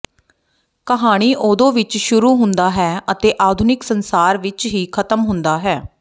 ਕਹਾਣੀ ਓਦੋ ਵਿੱਚ ਸ਼ੁਰੂ ਹੁੰਦਾ ਹੈ ਅਤੇ ਆਧੁਨਿਕ ਸੰਸਾਰ ਵਿੱਚ ਹੀ ਖਤਮ ਹੁੰਦਾ ਹੈ